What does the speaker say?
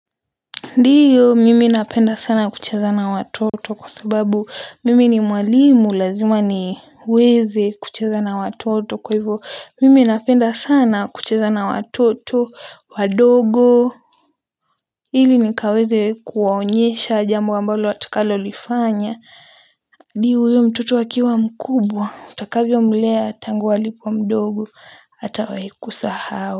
Ndiyo, mimi napenda sana kucheza na watoto kwa sababu mimi ni mwalimu, lazima niweze kucheza na watoto. Kwa hivyo, mimi napenda sana kucheza na watoto wadogo. Hili nikaweze kuwaonyesha jambo ambalo watakalolifanya. Ndiyo huyo mtoto akiwa mkubwa, utakavyomlea tangu alipo mdogo hatawahi kusahau.